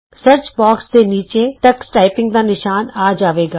search box ਦੇ ਨੀਚੇ Tux typing ਦਾ ਨਿਸ਼ਾਨ ਆ ਜਾਏਗਾ